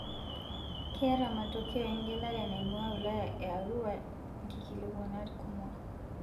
Keeta matokeo egelare naing'ua wilaya e Arua nkikilikuanat kumok